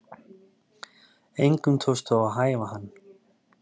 Engum tókst þó að hæfa hann